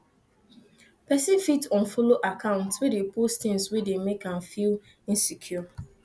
person fit unfollow accounts wey dey post things wey dey make am feel insecure